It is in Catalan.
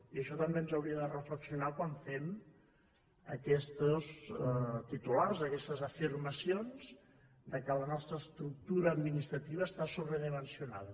i això també ens hauria de fer reflexionar quan fem aquests titulars aquestes afirmacions que la nostra estructura administrativa està sobredimensionada